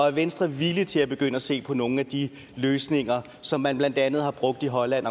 er venstre villig til at begynde at se på nogle af de løsninger som man blandt andet har brugt i holland